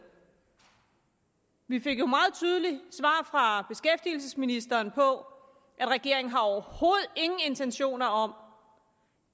vi fik jo meget tydeligt svar fra beskæftigelsesministeren på at regeringen overhovedet ingen intentioner har om